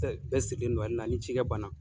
Bɛɛ sirilen don n na ni ci kɛ banna.